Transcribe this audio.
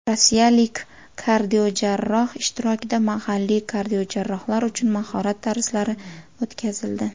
Rossiyalik kardiojarroh ishtirokida mahalliy kardiojarrohlar uchun mahorat darslari o‘tkazildi.